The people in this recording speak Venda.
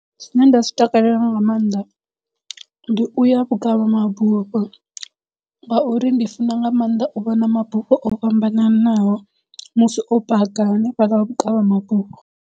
Zwine nda zwi takalela nga maanḓa ndi u ya vhukavha mabufho ngauri ndi funa nga mannḓa u vhona mabufho o fhambananaho musi o paka hanefhaḽa vhukavha mabufho.